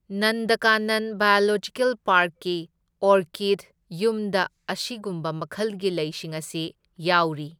ꯅꯟꯗꯀꯥꯅꯟ biological ꯄꯥꯔꯛꯀꯤ ꯑꯣꯔꯀꯤꯗ ꯌꯨꯝꯗ ꯑꯁꯤꯒꯨꯝꯕ ꯃꯈꯜꯒꯤ ꯂꯩꯁꯤꯡ ꯑꯁꯤ ꯌꯥꯎꯔꯤ꯫